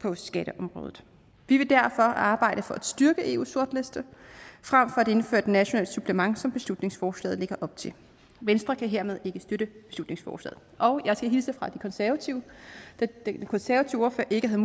på skatteområdet vi vil derfor arbejde for at styrke eus sortliste frem for at indføre et nationalt supplement som beslutningsforslaget lægger op til venstre kan hermed ikke støtte beslutningsforslaget og jeg skal hilse fra de konservative da den konservative ordfører ikke havde